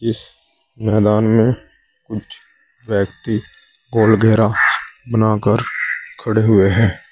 इस मैदान में कुछ व्यक्ति गोल घेरा बना कर खड़े हुए हैं।